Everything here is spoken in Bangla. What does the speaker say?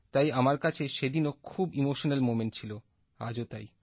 তাই আমার কাছে সেদিনও খুব ইমোশনাল মোমেন্ট ছিল আজও তাই